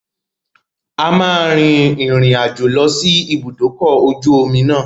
A máa rin àjò lọ sí ibùdó ọkọ̀ ojú omi náà.